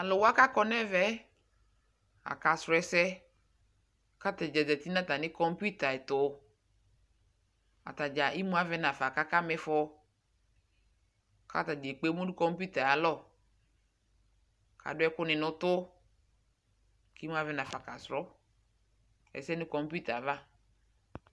Talʊwa kakɔ ɲɛvɛ akasrɔ ɛsɛ katadza zati ataɲi computer tʊ atadza imuavɛ ɲava kakamifɔ katadza ekpemu ɲʊ computer alɔ adʊ ɛkʊɲi ɲʊtʊ kimuavɛnaƒa kasrɔ ɛsɛ ɲʊ computer ava